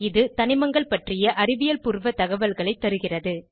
இது தனிமங்கள் பற்றிய அறிவியல் பூர்வ தகவல்களை தருகிறது